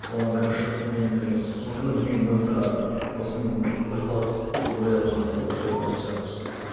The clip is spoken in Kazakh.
соған кіріп шығып мен уже сол күні білмеймін ойымда досым өліп қалады деп ойладым бар ғой өліп қалады шығар осы